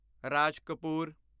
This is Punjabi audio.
ਰਾਜ ਕਪੂਰ